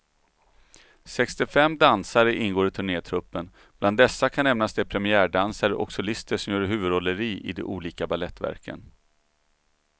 Sextiofem dansare ingår i turnétruppen, bland dessa kan nämnas de premiärdansare och solister som gör huvudrolleri de olika balettverken.